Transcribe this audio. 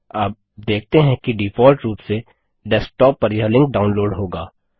आप देखते हैं कि डिफॉल्ट रूप से डेस्कटॉप पर यह लिंक डाउनलोड होगा